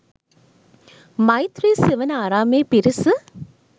මෛත්‍රී සෙවණ ආරාමයේ පිරිස